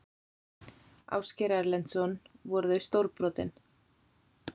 Ásgeir Erlendsson: Voru þau stórbrotin?